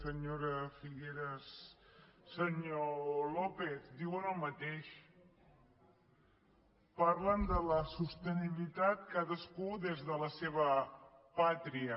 senyora figueras senyor lópez diuen el mateix parlen de la sostenibilitat cadascú des de la seva pàtria